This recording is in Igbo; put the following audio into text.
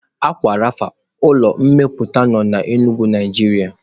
Aqua rapha ulọ mmeputa nọ na Enugu Naijiria